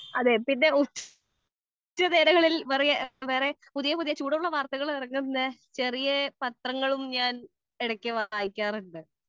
speaker 2 അതെ പിന്നെ ഉച്ചനേരങ്ങളിൽ വേറെ പുതിയ പുതിയ ചൂടുള്ള വാർത്തകൾ ഇറങ്ങുന്ന ചെറിയ പത്രങ്ങളും ഞാൻ വായിക്കാറുണ്ട്